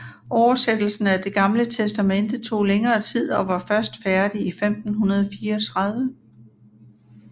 Oversættelsen af Det Gamle Testamente tog længere tid og var først færdig i 1534